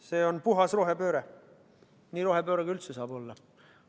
See on puhas rohepööre, nii rohepööre, kui üldse olla saab.